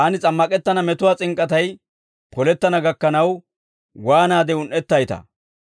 Taani s'ammak'ettana metuwaa s'ink'k'atay polettana gakkanaw waanaade un"ettaytaa!